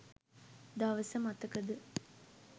දවස මතකද?